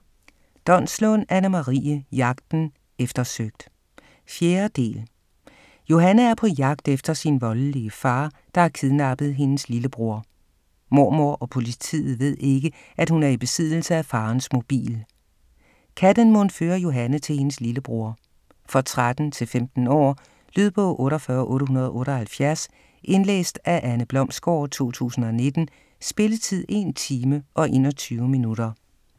Donslund, Anne-Marie: Jagten - eftersøgt 4. del af Jagten. Johanne er på jagt efter sin voldelige far, der har kidnappet hendes lillebror. Mormor og politiet ved ikke, at hun er i besiddelse af farens mobil. Kan den mon føre Johanne til hendes lillebror? For 13-15 år. Lydbog 48878 Indlæst af Anne Blomsgaard, 2019. Spilletid: 1 time, 21 minutter.